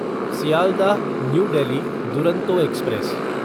Sealdah New Delhi Duronto express